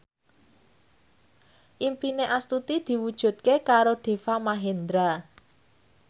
impine Astuti diwujudke karo Deva Mahendra